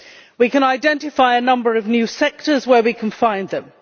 We can identify a number of new sectors where we can find them.